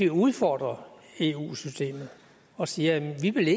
udfordre eu systemet og sige at vi ikke